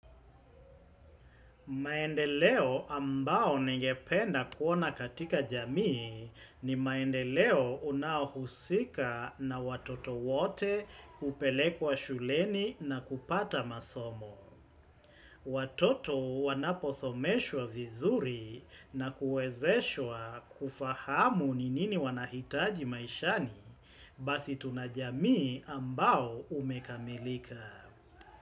Maendeleo ambao ningependa kuona katika jamii ni maendeleo unaohusika na watoto wote kupelekwa shuleni na kupata masomo. Watoto wanapothomeshwa vizuri na kuezeshwa kufahamu ni nini wanahitaji maishani basi tunajamii ambao umekamilika.